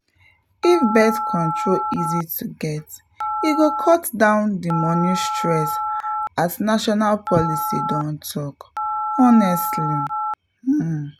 if birth control easy to get e go cut down the money stress as national policy don talk — honestly um.